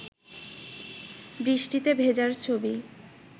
বৃষ্টিতে ভেজার ছবি